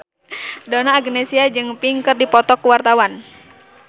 Donna Agnesia jeung Pink keur dipoto ku wartawan